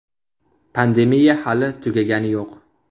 Pandemiya hali tugagani yo‘q.